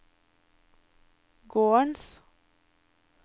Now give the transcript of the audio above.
gårdens